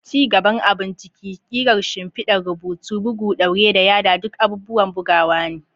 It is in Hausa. Ci gaban abun ciki, ƙirar shimfidar rubutu, bugu, ɗaure, da yada duk ayyukan bugawa ne.